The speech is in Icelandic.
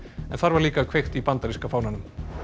þar var líka kveikt í bandaríska fánanum